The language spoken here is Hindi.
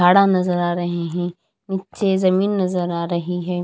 झाड़ नजर आ रहे हैं नीचे जमीन नजर आ रही है।